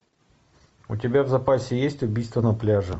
у тебя в запасе есть убийство на пляже